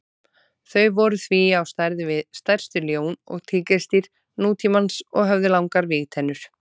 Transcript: Þau voru því á stærð við stærstu ljón og tígrisdýr nútímans og höfðu langar vígtennur.